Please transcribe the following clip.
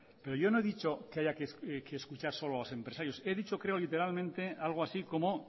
pero yo no he dicho que haya que escuchar solo a los empresarios he dicho creo literalmente algo así como